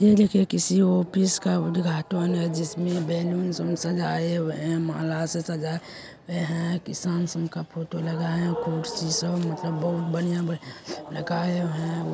यह देखे किसी ऑफिस का उद्घाटन है जिसमे बलून सब सजाए हुए है माला से सजाए हुए है किसान संघ का फोटो सब मतलब बहुत बढ़िया लगाए हुए है।